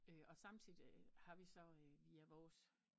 Og samtidig har vi så via vi vores